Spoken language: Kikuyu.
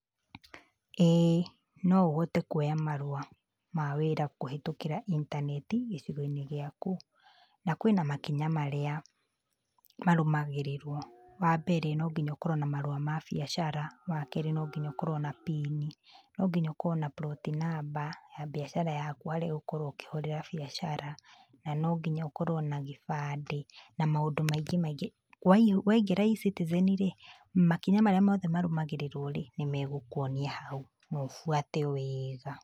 Ĩĩ, no ũhote kuoya marũwa ma wĩra kũhĩtũkĩra intaneti gĩcigo-inĩ gĩaku. Na kwĩna makinya marĩa marũmagĩrĩrwo, wa mbere no nginya ũkorwo na marũa ma biacara, wa kerĩ no nginya ũkorwo na pinĩ, no nginya ũkorwo na bloti namba ya biacara yaku harĩa ũgũkorwo ũkĩhũrĩra biacara, na no nginya ũkorwo na gĩbandĩ na maũndũ maingĩ maingĩ. Waingĩra E-Citizen rĩ, makinya marĩa mothe marũmagĩrĩrwo rĩ, nĩ megũkuonia hau na ũbuate wega.